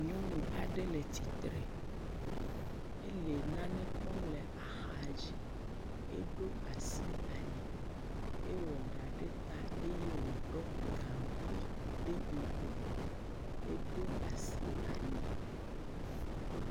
Nyɔnu aɖe le tsitre, ele nane kpɔm le axa dzi eɖo asi ali, ewɔ ɖa ɖe ta eye wòɖɔ gaŋkui ɖe ŋku, eɖo asi ali.